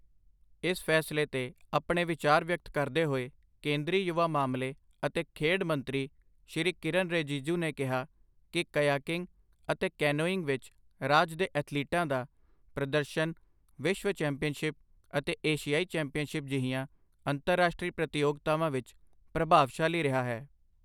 ਇਸ ਫੈਸਲੇ ਤੇ ਆਪਣੇ ਵਿਚਾਰ ਵਿਅਕਤ ਕਰਦੇ ਹੋਏ, ਕੇਂਦਰੀ ਯੁਵਾ ਮਾਮਲੇ ਅਤੇ ਖੇਡ ਮੰਤਰੀ ਸ਼੍ਰੀ ਕਿਰੇਨ ਰਿਜਿਜੂ ਨੇ ਕਿਹਾ ਕੀ ਕਯਾਕਿੰਗ ਅਤੇ ਕੈਨੋਇੰਗ ਵਿੱਚ ਰਾਜ ਦੇ ਐਥਲੀਟਾਂ ਦਾ ਪ੍ਰਦਰਸ਼ਨ ਵਿਸ਼ਵ ਚੈਂਪੀਅਨਸ਼ਿਪ ਅਤੇ ਏਸ਼ੀਆਈ ਚੈਂਪੀਅਨਸ਼ਿਪ ਜਿਹੀਆਂ ਅੰਤਰਾਸ਼ਟਰੀ ਪ੍ਰਤਿਯੋਗਤਾਵਾਂ ਵਿੱਚ ਪ੍ਰਭਾਵਸ਼ਾਲੀ ਰਿਹਾ ਹੈ।